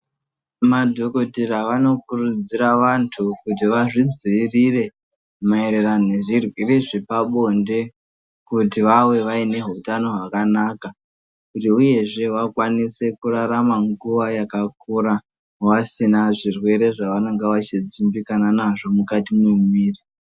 Madhokodhera vanokurudzira vantu kuti vazvidziirire maererane nezvirwere zvepabonde kuti vave vaine hutano hwakanaka kuti uyezve vakwanise kurarama nguva yakakura vasina zvirwere zvavanenge vachidzimbikana nazvo mukati memwiri .